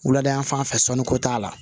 Wulada fan fɛ sɔnniko t'a la